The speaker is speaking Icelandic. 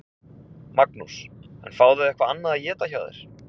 Magnús: En fá þau eitthvað annað að éta hjá þér?